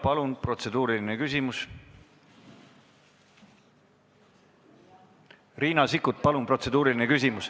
Palun protseduuriline küsimus, Riina Sikkut!